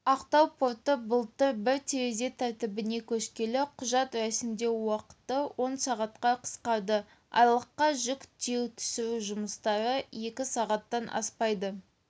ақтау порты былтыр бір терезе тәртібіне көшкелі құжат рәсімдеу уақыты он сағатқа қысқарды айлаққа жүк тиеу-түсіру жұмыстары екі сағаттан аспайды